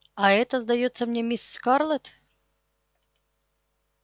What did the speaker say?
а это сдаётся мне мисс скарлетт